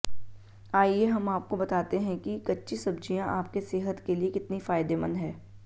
आइए हम आपको बताते हैं कि कच्ची सब्जियां आपके सेहत के लिए कितनी फायदेमंद हैं